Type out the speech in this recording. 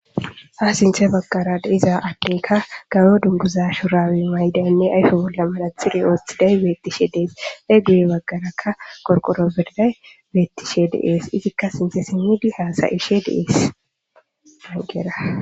Ha sintha baggaara de7iza addeykka gamo dunguza shuraabe ma7idaynne ayfe bolla manaxire oothiday beetishe dees. Gedebagarakka qorqqoro de7izay beettishe de7ees. Izikka sinthe simmidi haasa7ishe de7ees.